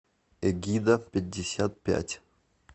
эгида пятьдесят пять